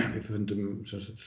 við fundum